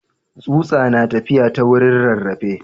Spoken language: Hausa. Tsutsa na tafiya ta wurin rarrafe.